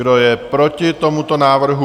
Kdo je proti tomuto návrhu?